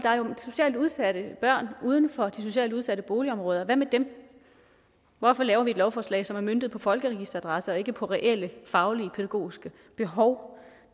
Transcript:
er udsatte børn uden for de socialt udsatte boligområder og hvad med dem hvorfor laver vi et lovforslag som er møntet på folkeregisteradresser og ikke på reelle faglige pædagogiske behov